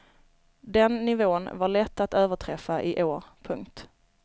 Den nivån var lätt att överträffa i år. punkt